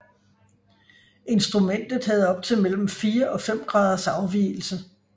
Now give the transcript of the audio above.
Instrumentet havde op til mellem fire og fem graders afvigelse